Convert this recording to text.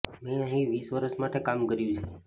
મેં અહીં વીસ વર્ષ માટે કામ કર્યું છે